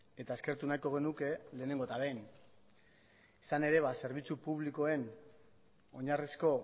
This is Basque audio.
eta eskertu nahiko genuke lehenengo eta behin izan ere zerbitzu publikoen oinarrizko